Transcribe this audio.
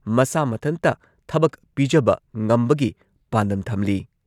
ꯃꯁꯥ ꯃꯊꯟꯇ ꯊꯕꯛ ꯄꯤꯖꯕ ꯉꯝꯕꯒꯤ ꯄꯥꯟꯗꯝ ꯊꯝꯂꯤ ꯫